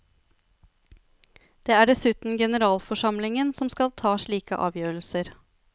Det er dessuten generalforsamlingen som skal ta slike avgjørelser.